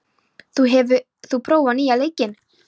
Þyri, hefur þú prófað nýja leikinn?